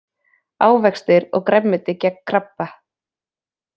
Ávextir og grænmeti gegn krabba